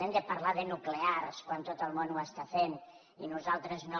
hem de parlar de nuclears quan tot el món ho està fent i nosaltres no